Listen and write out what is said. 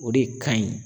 O de ka ɲi